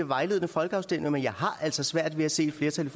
vejledende folkeafstemninger men jeg har altså svært ved at se et flertal i